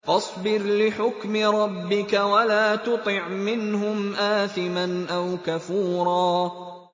فَاصْبِرْ لِحُكْمِ رَبِّكَ وَلَا تُطِعْ مِنْهُمْ آثِمًا أَوْ كَفُورًا